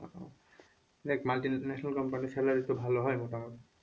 দেখ multinational company র তো salary তো ভালো হয় মোটামুটি,